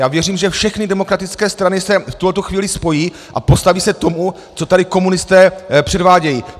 Já věřím, že všechny demokratické strany se v tuhle chvíli spojí a postaví se tomu, co tady komunisté předvádějí!